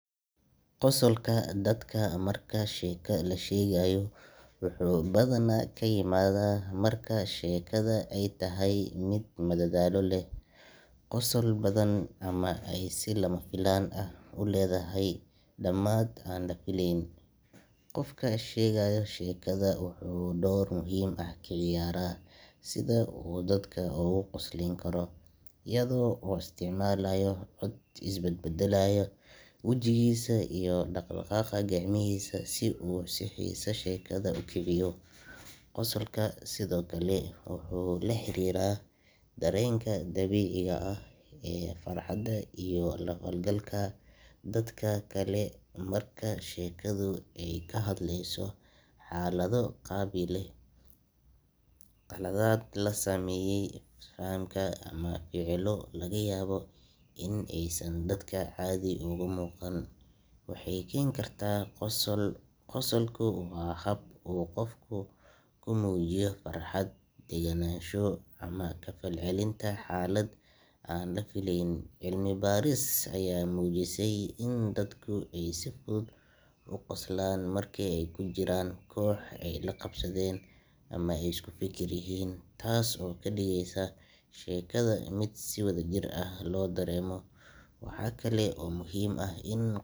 Qosolka dadka marka sheeko la sheegayo wuxuu badanaa ka yimaadaa marka sheekada ay tahay mid madadaalo leh, qosol badan ama ay si lama filaan ah u leedahay dhamaad aan la filayn. Qofka sheegaya sheekada wuxuu door muhiim ah ka ciyaaraa sida uu dadka uga qoslin karo, iyadoo uu isticmaalayo cod is bedbeddelaya, wejigiisa iyo dhaqdhaqaaqa gacmihiisa si uu xiisaha sheekada u kiciyo. Qosolku sidoo kale wuxuu la xiriiraa dareenkeena dabiiciga ah ee farxadda iyo la falgalka dadka kale. Marka sheekadu ka hadleyso xaalado la yaab leh, khaladaad lagu sameeyay fahamka ama ficillo laga yaabo in aysan dadka caadi ugu muuqan, waxay keeni kartaa qosol. Qosolku waa hab uu qofku ku muujiyo farxad, degenaansho ama ka falcelinta xaalad aan la fileyn. Cilmi baaris ayaa muujisay in dadka ay si fudud u qoslaan marka ay ku jiraan koox ay la qabsadeen ama ay isku fikir yihiin, taas oo ka dhigaysa sheekada mid si wadajir ah loo dareemo. Waxaa kale oo muhiim ah in qo